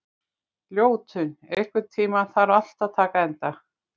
Ljótunn, einhvern tímann þarf allt að taka enda.